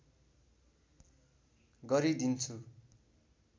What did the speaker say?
गरि दिन्छु